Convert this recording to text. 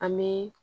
An bɛ